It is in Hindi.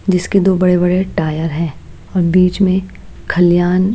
जिसके दो बड़े-बड़े टायर हैं और बीच में खलियान --